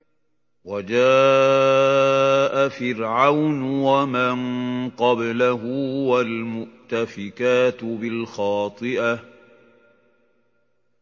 وَجَاءَ فِرْعَوْنُ وَمَن قَبْلَهُ وَالْمُؤْتَفِكَاتُ بِالْخَاطِئَةِ